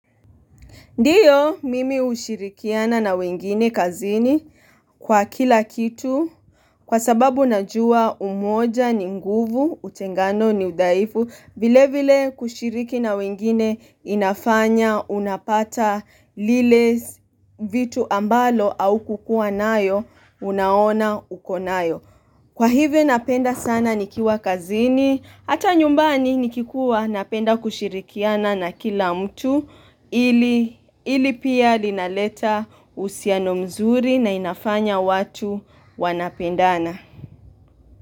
Ndiyo, mimi hushirikiana na wengine kazini kwa kila kitu kwa sababu najua umoja ni nguvu utengano ni udhaifu vile vile kushiriki na wengine inafanya unapata lile vitu ambalo aukukua nayo unaona uko nayo Kwa hivyo napenda sana nikiwa kazini, hata nyumbani nikikuwa napenda kushirikiana na kila mtu ili pia linaleta husiano mzuri na inafanya watu wanapendana.